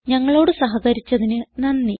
ഞങ്ങളോട് സഹകരിച്ചതിന് നന്ദി